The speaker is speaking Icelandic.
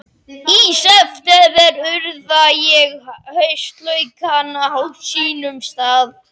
Í september urða ég haustlaukana á sínum stað.